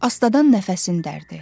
Astadan nəfəsini dərdi.